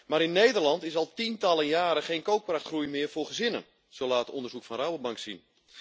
Maar in Nederland is al tientallen jaren geen koopkrachtgroei meer voor gezinnen, zo laat onderzoek van Rabobank zien.